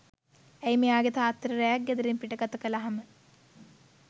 ඇයි මෙයාගේ තාත්තා ට රැයක් ගෙදරින් පිට ගතකලාම